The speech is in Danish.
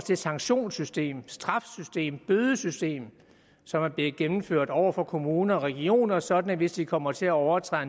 det sanktionssystem det straffesystem bødesystem som er blevet gennemført over for kommuner og regioner sådan at hvis de kommer til at overtræde